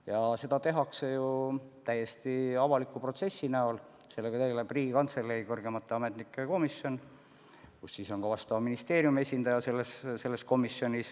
Ja seda tehakse ju täiesti avaliku protsessi käigus, sellega tegeleb Riigikantselei kõrgemate ametnike komisjon, kus on ka vastava ministeeriumi esindaja.